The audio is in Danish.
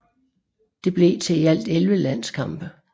Det blev til i alt 11 landskampe